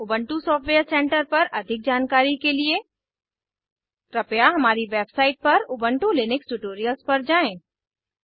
Ubuntu software centre पर अधिक जानकारी के लिए कृपया हमारी वेबसाइट पर उबन्टु लिनक्स ट्यूटोरियल्स पर जाएँ